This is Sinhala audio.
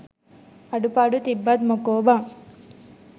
අඩු පාඩු තිබ්බත් මොකෝ බන්